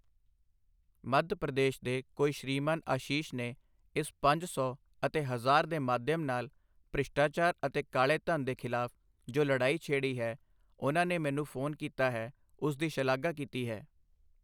ਮੱਧ ਪ੍ਰਦੇਸ਼ ਦੇ ਕੋਈ ਸ਼੍ਰੀਮਾਨ ਆਸ਼ੀਸ਼ ਨੇ ਇਸ ਪੰਜ ਸੌ ਅਤੇ ਹਜ਼ਾਰ ਦੇ ਮਾਧਿਅਮ ਨਾਲ ਭ੍ਰਿਸ਼ਟਾਚਾਰ ਅਤੇ ਕਾਲੇ ਧਨ ਦੇ ਖਿਲਾਫ਼ ਜੋ ਲੜਾਈ ਛੇਡ਼ੀ ਹੈ, ਉਨ੍ਹਾਂ ਨੇ ਮੈਨੂੰ ਫੋਨ ਕੀਤਾ ਹੈ, ਉਸ ਦੀ ਸ਼ਲਾਘਾ ਕੀਤੀ ਹੈ